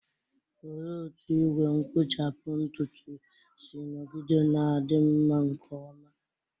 Olee otú igwe nkpuchapu ntutu si nọgide na-adị mma nke ọma?